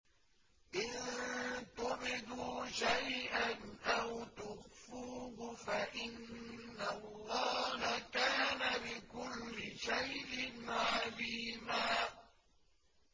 إِن تُبْدُوا شَيْئًا أَوْ تُخْفُوهُ فَإِنَّ اللَّهَ كَانَ بِكُلِّ شَيْءٍ عَلِيمًا